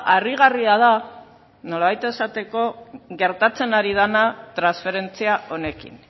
harrigarria da nolabait esateko gertatzen ari dena transferentzia honekin